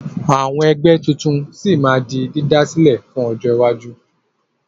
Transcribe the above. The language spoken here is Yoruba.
Àwọn ẹgbẹ́ tuntun sì máa di dídásílẹ̀ lọ́jọ́ iwájú.